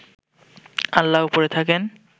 আল্লাহ ওপরে থাকেন